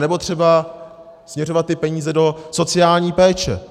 Anebo třeba směřovat ty peníze do sociální péče.